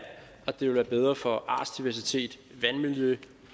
det ville være bedre for artsdiversitet vandmiljø